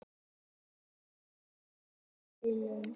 Sigurásta, lækkaðu í hátalaranum.